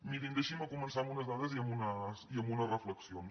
mirin deixin me començar amb unes dades i amb unes reflexions